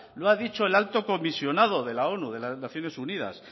lo ha dicho el alto comisionado de la onu de las naciones unidas